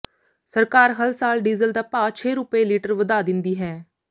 ਸਰਕਾਰ ਹਰ ਸਾਲ ਡੀਜ਼ਲ ਦਾ ਭਾਅ ਛੇ ਰੁਪਏ ਲੀਟਰ ਵਧਾ ਦਿੰਦੀ ਹੈ